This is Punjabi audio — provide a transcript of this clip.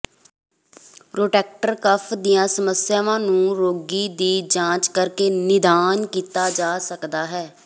ਰੋਟੈਕਟਰ ਕਫ਼ ਦੀਆਂ ਸਮੱਸਿਆਵਾਂ ਨੂੰ ਰੋਗੀ ਦੀ ਜਾਂਚ ਕਰਕੇ ਨਿਦਾਨ ਕੀਤਾ ਜਾ ਸਕਦਾ ਹੈ